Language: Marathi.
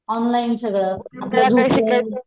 ऑनलाईन सगळ,